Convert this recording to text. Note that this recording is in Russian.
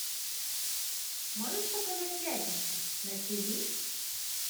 можешь показать пятница на тиви